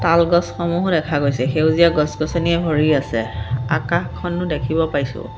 তাল গছসমূহো দেখা গৈছে সেউজীয়া গছ-গছনিৰে ভৰি আছে আকাশখনো দেখিব পাইছোঁ।